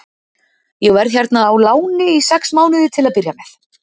Ég verð hérna á láni í sex mánuði til að byrja með.